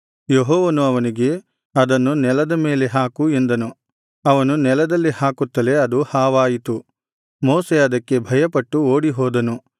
ಯೆಹೋವನು ಅವನಿಗೆ ಅದನ್ನು ನೆಲದ ಮೇಲೆ ಹಾಕು ಎಂದನು ಅವನು ನೆಲದಲ್ಲಿ ಹಾಕುತ್ತಲೇ ಅದು ಹಾವಾಯಿತು ಮೋಶೆ ಅದಕ್ಕೆ ಭಯಪಟ್ಟು ಓಡಿಹೋದನು